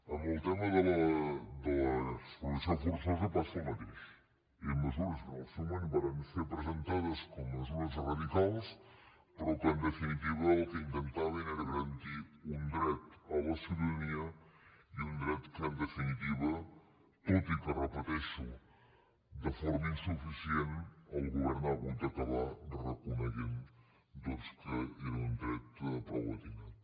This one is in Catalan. amb el tema de l’expropiació forçosa passa el mateix eren mesures que en el seu moment varen ser presentades com a mesures radicals però que en definitiva el que intentaven era garantir un dret a la ciutadania i un dret que en definitiva tot i que ho repeteixo de forma insuficient el govern ha hagut d’acabar reconeixent doncs que era un dret prou encertat